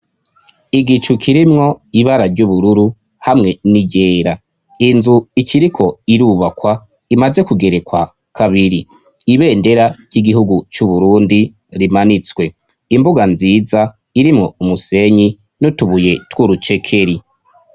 Igicu kirimwo ibara ry'ubururu hamwe ni yera inzu ikiriko irubakwa imaze kugerekwa kabiri ibendera ry'igihugu c'uburundi rimanitswe imbuga nziza irimwo umusenyi n'utubuye tw'urucekeri.